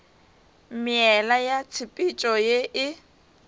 meela ya tshepetšo ye e